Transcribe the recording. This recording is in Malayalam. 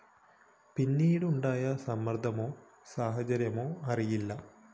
പിന്നീടുണ്ടായ സമ്മര്‍ദ്ദമോ സാഹചര്യമോ അറിയില്ല